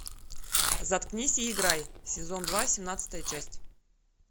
заткнись и играй сезон два семнадцатая часть